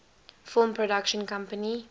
film production company